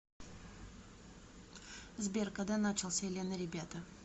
сбер когда начался элен и ребята